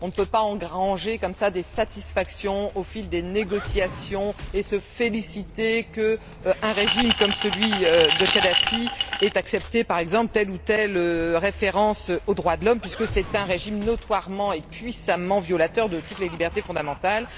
On ne peut pas engranger comme cela des satisfactions au fil des négociations, et se féliciter qu'un régime comme celui de Kadhafi ait accepté par exemple telle ou telle référence aux droits de l'homme, puisque c'est un régime notoirement et puissamment violateur de toutes les libertés fondamentales.